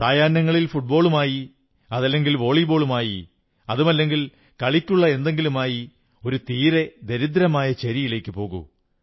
സായാഹ്നമായാൽ ഫുട്ബോളുമായി അതല്ലെങ്കിൽ വോളിബോളുമായി അതുമല്ലെങ്കിൽ കളിക്കുള്ള എന്തെങ്കിലുമായി ഒരു തീരെ ദരിദ്രമായ ചേരിയിലേക്കു പോകൂ